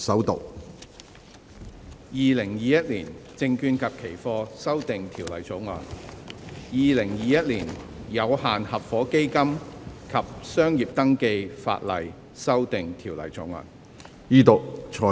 《2021年證券及期貨條例草案》《2021年有限合夥基金及商業登記法例條例草案》。